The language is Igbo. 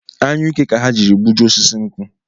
Anyuike ka ha jiri gbujie osisi nkwu